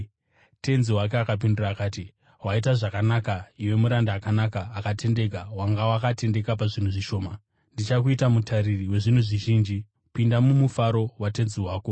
“Tenzi wake akapindura akati, ‘Waita zvakanaka, iwe muranda akanaka, akatendeka! Wanga wakatendeka pazvinhu zvishoma, ndichakuita mutariri wezvinhu zvizhinji. Pinda mumufaro watenzi wako!’